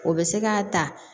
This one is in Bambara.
O bɛ se k'a ta